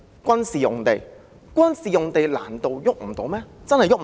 軍事用地難道真的碰不得？